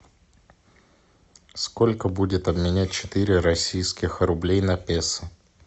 сколько будет обменять четыре российских рублей на песо